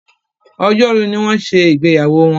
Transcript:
Ọjọ́ Rú ní wón ṣe ìgbéyàwó wón.